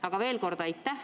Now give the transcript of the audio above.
Aga veel kord: aitäh!